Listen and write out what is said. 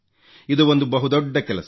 ಇದು ಒಂದು ಬಹು ದೊಡ್ಡ ಕೆಲಸ